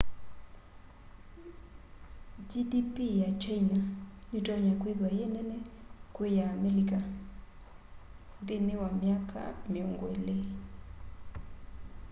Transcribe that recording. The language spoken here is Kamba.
gdp ya kyaina nitonya kwithwa yi nene kwi ya amelika nthĩnĩ wa myaka mĩongo ĩlĩ